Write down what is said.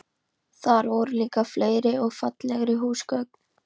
Þar voru líka fleiri og fallegri húsgögn.